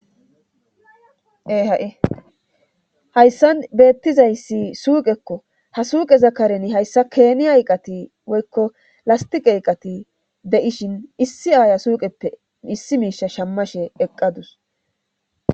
ha7i hayssan beettizayssi suuqekko ha suuqe zakareni hayssa keeni hayqati woykko lastiq ayqati deishin issi aaya suuqeppe issi miisha shammashe eqqadus